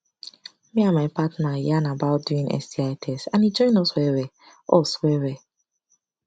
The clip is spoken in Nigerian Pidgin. na after my cousin at ten d one community health talk na e she start dey do sti test